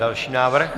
Další návrh.